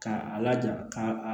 K'a a laja ka